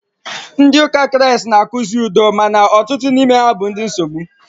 Ndị ụka Kraịst na- akụzi udo maka ọtụtụ n'ime ha bụ ndị nsogbu.